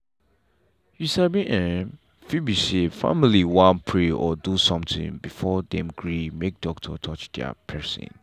you sabi en fit be say family wan pray or do something before dem gree make doctor touch their person.